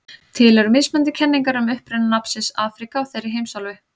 Til eru mismunandi kenningar um uppruna nafnsins Afríka á þeirri heimsálfu.